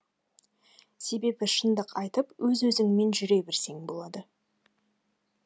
себебі шыңдық айтып өз өзіңмен жүре берсең болады